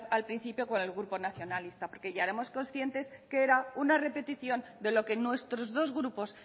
con el grupo nacionalista porque ya éramos conscientes que era una repetición de lo que nuestros dos grupos